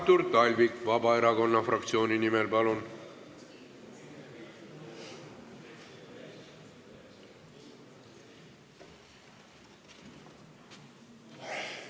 Artur Talvik Vabaerakonna fraktsiooni nimel, palun!